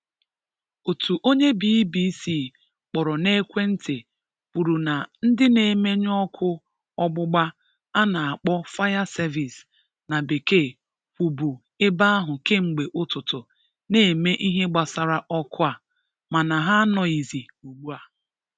Otu onye BBC kpọrọ n'ekwentị kwụrụ na ndị na-emenyụ ọkụ ọgbụgba a na-akpọ 'fire service' na bekee, kwụbụ ebe ahụ kemgbe ụtụtụ na-eme ihe gbasara ọkụ a, mana ha anọghịzị ụgbua